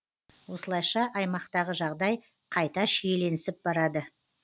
осылайша аймақтағы жағдай қайта шиеленісіп барады